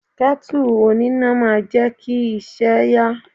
Kẹ́tù oníná máa jẹ́ kí iṣẹ́ ẹ yá.